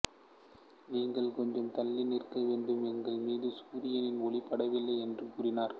நீங்கள் கொஞ்சம் தள்ளி நிற்க வேண்டும் எங்கள் மீது சூரியனின் ஒளி படவில்லை என்று கூறினர்